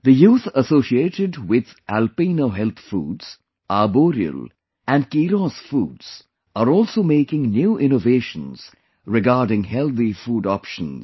The youth associated with Alpino Health Foods, Arboreal and Keeros Foods are also making new innovations regarding healthy food options